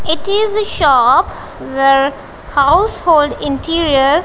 it is a shop where household interior.